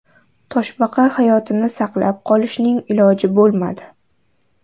Toshbaqa hayotini saqlab qolishning iloji bo‘lmadi.